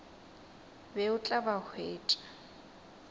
be o tla ba hwetša